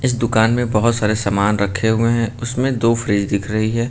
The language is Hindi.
इस दुकान में बोहोत सारे सामान रखे हुए हैं। उसमें दो फ्रिज दिख रही हैं।